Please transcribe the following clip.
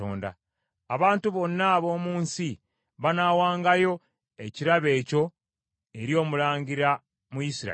Abantu bonna ab’omu nsi banaawangayo ekirabo ekyo eri omulangira mu Isirayiri.